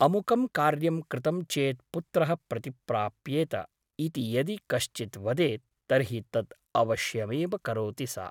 अमुकं कार्यं कृतं चेत् पुत्रः प्रतिप्राप्येत ' इति यदि कश्चित् वदेत् तर्हि तत् अवश्यमेव करोति सा ।